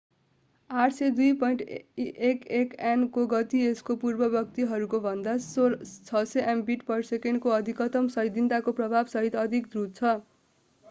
802.11n को गति यसको पूर्ववर्तीहरूको भन्दा 600mbit/s को अधिकतम सैद्धान्तिक प्रवाहसहित अधिक द्रुत छ।